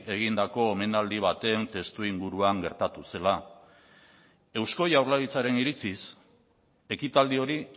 egindako omenaldi baten testuinguruan gertatu zela eusko jaurlaritzaren iritziz ekitaldi hori